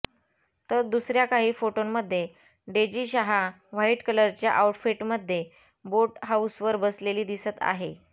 तर दुसऱ्या काही फोटोंमध्ये डेजी शाह व्हाइट कलरच्या आउटफिटमध्ये बोट हाऊसवर बसलेली दिसते आहे